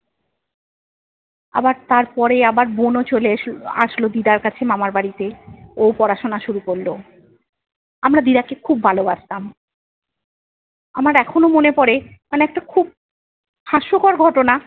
আবার তারপরে আবার বোনও চলে এসে~ আসলো দিদার কাছে মামাবাড়িতে। ও পড়াশোনা শুরু করলো। আমরা দিদাকে খুব ভালোবাসতাম। আমার এখনো মনে পরে মানে একটা খুব হাস্যকর ঘটনা-